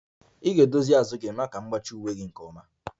Ị ga-edozi azụ gị maka m zip uwe a nke ọma